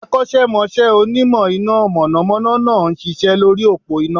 Akọ́sẹ́mọsẹ́ Onímọ̀ iná mọ̀nọ̀mọ́nọ́ náà n ṣiṣẹ́ lórí òpó iná